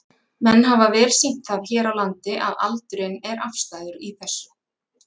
Menn hafa vel sýnt það hér á landi að aldurinn er afstæður í þessu?